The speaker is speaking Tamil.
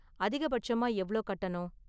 அதிகபட்சமா எவ்ளோ கட்டணும்?